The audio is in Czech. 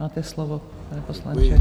Máte slovo, pane poslanče.